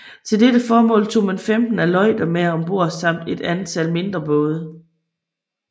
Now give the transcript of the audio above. Til dette formål tog man femten aleuter med om bord samt et antal mindre både